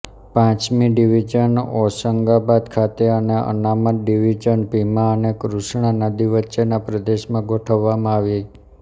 પાંચમી ડિવિઝન હોશંગાબાદ ખાતે અને અનામત ડિવિઝન ભીમા અને કૃષ્ણા નદી વચ્ચેના પ્રદેશમાં ગોઠવવામાં આવી